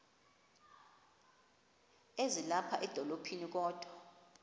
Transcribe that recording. ezilapha edolophini kodwa